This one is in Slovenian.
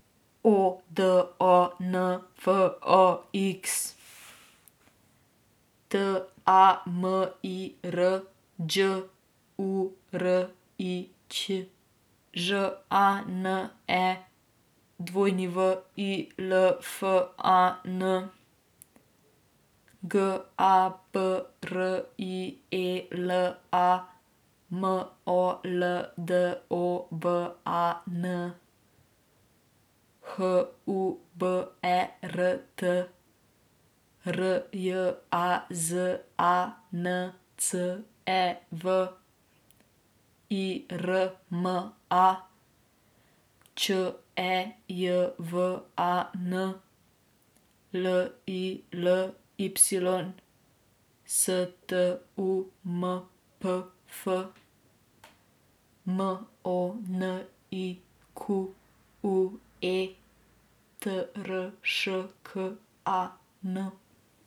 O D O N, F O X; T A M I R, Đ U R I Ć; Ž A N E, W I L F A N; G A B R I E L A, M O L D O V A N; H U B E R T, R J A Z A N C E V; I R M A, Č E J V A N; L I L Y, S T U M P F; M O N I Q U E, T R Š K A N.